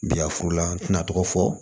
Bi yafurula an tɛna tɔgɔ fɔ